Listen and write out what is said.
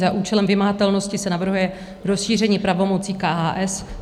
Za účelem vymahatelnosti se navrhuje rozšíření pravomocí KHS.